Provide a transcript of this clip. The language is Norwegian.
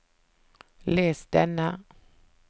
les denne